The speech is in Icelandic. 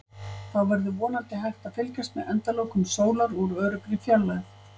Þá verður vonandi hægt að fylgjast með endalokum sólar úr öruggri fjarlægð.